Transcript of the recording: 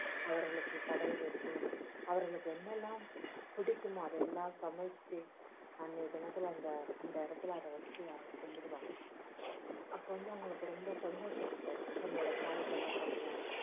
அவர்களுக்கு படையலிட்டு அவர்களுக்கு என்னெல்லாம் பிடிக்குமோ அதையெல்லாம் சமைச்சு அன்னைய தினத்துல அந்த அந்த இடத்துல அதை வச்சி அவங்க கும்பிடுவாங்க அப்ப்போ வந்து அவங்களுக்கு ரொம்ப சந்தொஷம் அவங்க தாய் தகப்பன்லாம்